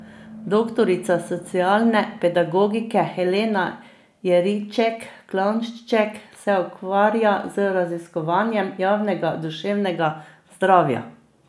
Doktorica socialne pedagogike Helena Jeriček Klanšček se ukvarja z raziskovanjem javnega duševnega zdravja.